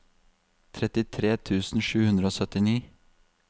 trettitre tusen sju hundre og syttini